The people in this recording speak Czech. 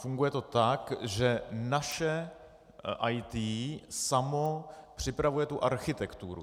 Funguje to tak, že naše IT samo připravuje tu architekturu.